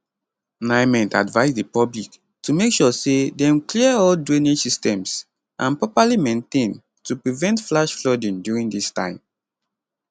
nimet advise di public to make sure say dem clear all drainage systems and properly maintain to prevent flash flooding during dis time